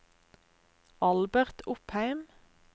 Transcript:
Albert Opheim